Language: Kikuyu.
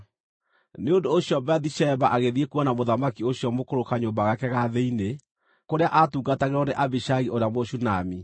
Nĩ ũndũ ũcio Bathisheba agĩthiĩ kuona mũthamaki ũcio mũkũrũ kanyũmba gake ga thĩinĩ, kũrĩa aatungatagĩrwo nĩ Abishagi ũrĩa Mũshunami.